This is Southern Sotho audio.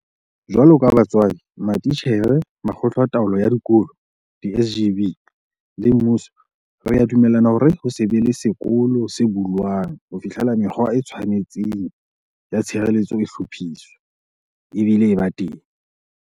Jwaloka batswadi, matitjhere, makgotla a taolo ya dikolo, di-SGB, le mmuso, re a dumellana hore ho se be sekolo se bulwang ho fihlela mekgwa e tshwanelehang ya tshireletso e hlophiswa, ebile e ba teng.